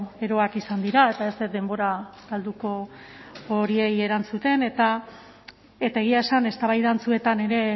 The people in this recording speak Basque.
eroak izan dira eta ez dut denbora galduko horiei erantzuten eta egia esan eztabaida antzuetan ere